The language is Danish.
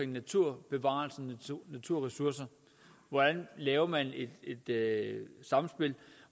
naturbevarelsen og naturressoucer hvordan laver man et samspil